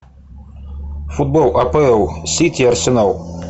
футбол апл сити арсенал